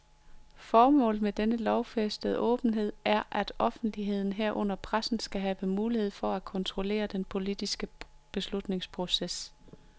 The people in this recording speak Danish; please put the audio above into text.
Formålet med denne lovfæstede åbenhed er, at offentligheden, herunder pressen, skal have mulighed for at kontrollere den politiske beslutningsproces.